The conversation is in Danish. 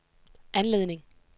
anledning